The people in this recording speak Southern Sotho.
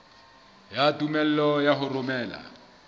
ya tumello ya ho romela